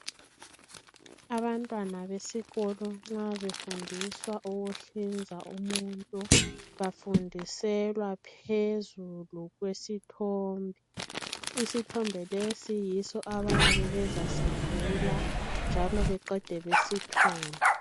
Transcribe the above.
Abantwana besikolo nxa befundiswa ukuhlinza umuntu bafundiselwa phezulu kwesithombe. Isithombe lesi yibo abayabe bezasivula njalo beqede lapho besithunge.